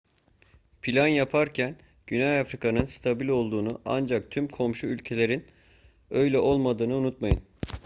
plan yaparken güney afrika'nın stabil olduğunu ancak tüm komşu ülkelerin öyle olmadığını unutmayın